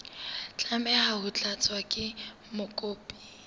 tlameha ho tlatswa ke mokopi